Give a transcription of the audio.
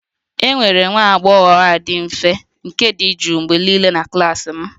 E nwere nwa agbọghọ a dị mfe nke dị jụụ mgbe niile na klas m